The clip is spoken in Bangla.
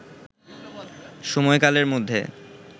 সময়কালের মধ্যে